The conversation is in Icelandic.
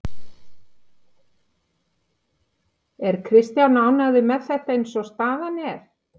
Er Kristján ánægður með þetta eins og staðan er?